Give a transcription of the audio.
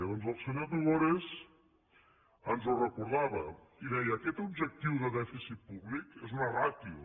doncs el senyor tugores ens ho recordava i deia aquest objectiu de dèficit públic és una ràtio